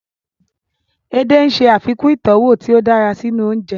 Edé ń ṣe àfikún ìtọ́wọ̀ tí ó dára sínú oúnjẹ